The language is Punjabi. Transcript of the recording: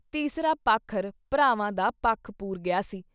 ਤੀਸਰਾ ਪਾਖਰ ਭਰਾਵਾਂ ਦਾ ਪੱਖ ਪੂਰ ਗਿਆ ਸੀ।